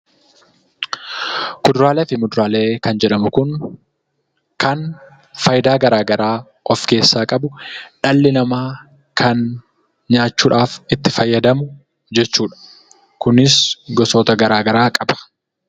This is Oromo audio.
Kuduraalee fi muduraalee kan jedhamu kun kan faayidaa garaa garaa of keessaa qabu, dhalli namaa kan nyaachuudhaaf itti fayyadamu jechuudha. Kunis gosoota garaa garaa qaba.